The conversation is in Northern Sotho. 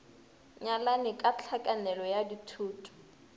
nyalane ka tlhakanelo ya dithoto